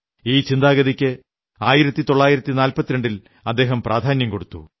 ഈ ചിന്താഗതിക്ക് 1942 ൽ അദ്ദേഹം പ്രാധാന്യം കൊടുത്തു